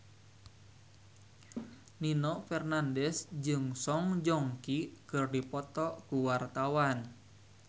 Nino Fernandez jeung Song Joong Ki keur dipoto ku wartawan